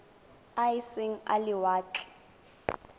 a e seng a lewatle